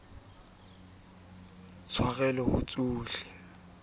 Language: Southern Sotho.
ho ba e lokileng le